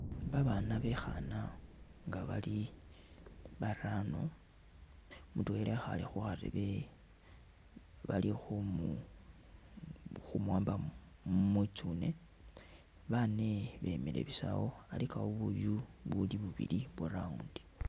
Babaana bekhana nga bali barano, mutwela ekhale khukharebe balikhunu khumuwamba mwitsune bane bemile busa awo, alikawo buyu buli buli bubili bwa'round